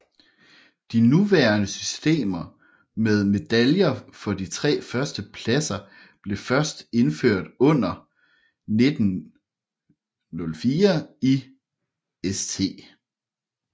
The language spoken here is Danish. De nuværende system med medaljer for de tre første pladser blev først indført under 1904 i St